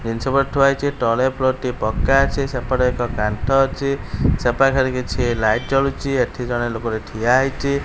ଜିନିଷ ଏପଟେ ଥୁଆହେଇଛି ତଳେ ଫ୍ଲୋର ଟି ପକ୍କା ଅଛି ଏପଟେ ଏକ କାନ୍ଥ ଅଛି ସେପାଖରେ କିଛି ଲାଇଟ୍ ଜଳୁଛି ଏଠି ଜଣେ ଲୋକଟି ଠିଆ ହେଇଛି।